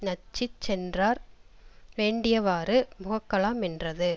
நச்சிச் சென்றார் வேண்டியவாறு முகக்கலா மென்றது